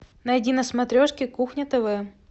найди на смотрешке кухня тв